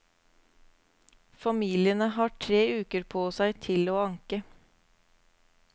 Familiene har tre uker på seg til å anke.